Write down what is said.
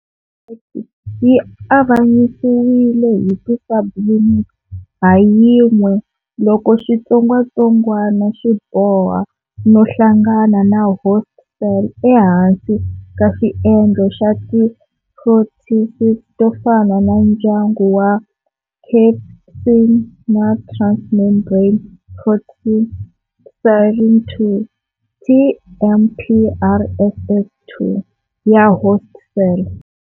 Yi avanyisiwile hi ti subunits ha yin'we loko xitsongwatsongwana xi boha no hlangana na host cell ehansi ka xiendlo xa ti proteases tofana na ndyangu wa cathepsin na transmembrane protease serine 2, TMPRSS2, ya host cell.